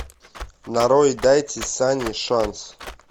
нарой дайте санни шанс